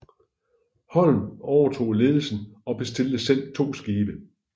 Holm overtog ledelsen og bestilte selv to skibe